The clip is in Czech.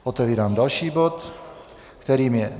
Otevírám další bod, kterým je